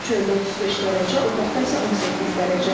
Çöldə 35 dərəcə, otaqda isə 18 dərəcə.